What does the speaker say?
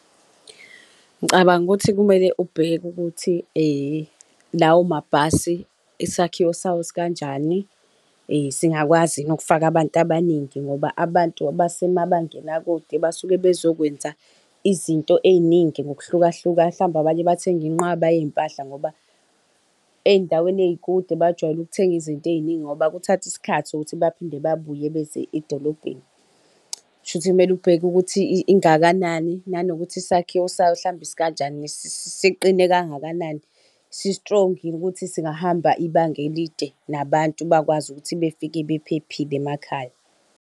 Ngicabanga ukuthi kumele ubheke ukuthi lawo mabhasi isakhiwo sawo sikanjani singakwazi yini ukufaka abantu abaningi ngoba abantu abasemabangeni akude basuke bezokwenza izinto eziningi ngokuhlukahlukana mhlambe abanye bathenge inqwaba yezimpahla ngoba ezindaweni ezikude bajwayele ukuthenga izinto eziningi ngoba kuthatha isikhathi ukuthi baphinde babuye beze edolobheni. Kusho ukuthi kumele ubheke ukuthi ingakanani nanokuthi isakhiwo sayo mhlawumbe sikanjani siqine kangakanani si-strong yini ukuthi singahamba ibanga elide nabantu bakwazi ukuthi befike bephephile emakhaya.